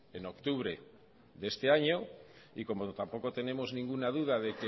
en octubre de este año y como tampoco tenemos ninguna duda de